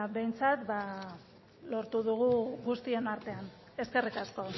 behintzat lortu dugu guztion artean eskerrik asko